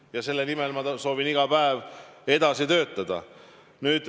Ja selle nimel ma soovin iga päev edasi töötada.